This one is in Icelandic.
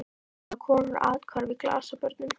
Svo eiga konur athvarf í glasabörnum.